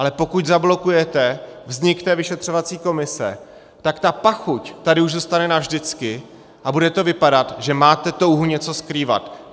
Ale pokud zablokujete vznik té vyšetřovací komise, tak ta pachuť tady už zůstane navždycky a bude to vypadat, že máte touhu něco skrývat.